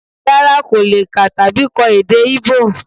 Rara, ko le kà tabi kọ èdè íbò?